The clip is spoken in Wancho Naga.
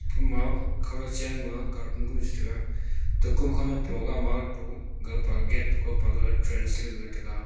ama khaunyak chenma katun gun che tega Kom khaunyak gaga pe gate gau pe trends le ga tega.